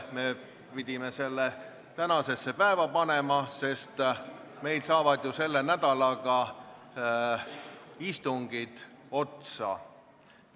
Me pidime selle tänasesse päeva panema, sest selle nädalaga saavad meil ju istungid otsa.